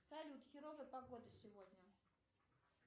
салют херовая погода сегодня